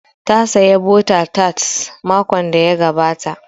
Ta saya bota tat makon da ya gabata